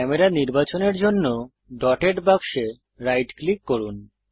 camera নির্বাচনের জন্য dotted বাক্সে রাইট ক্লিক করুন